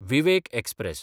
Vivek express